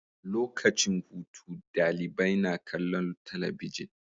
Lokacin hutu dalibai na kallon talabijin